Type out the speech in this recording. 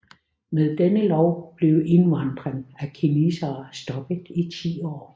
Med denne lov blev indvandring af kinesere stoppet i ti år